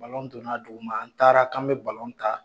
donna a duguma an taara k'an bɛ ta,